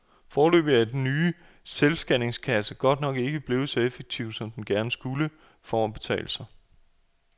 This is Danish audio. Foreløbig er den nye selvscanningskasse godt nok ikke blevet så effektiv, som den gerne skulle, for at betale sig.